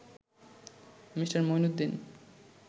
Me. Mueenuddin